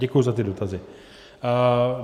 Děkuji za ty dotazy.